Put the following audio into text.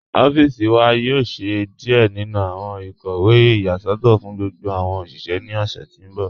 Ọffíṣì wà yóò ṣẹ̀ díẹ̀ nínu awọn ikọwe iyasọtọ fún gbogbo awọn oṣiṣẹ̀ ní ọṣẹ̀ tí n bọ̀.